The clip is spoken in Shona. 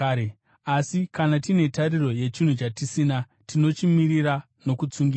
Asi kana tine tariro yechinhu chatisina, tinochimirira nokutsungirira.